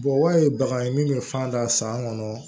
ye bagan min bɛ fan da san kɔnɔ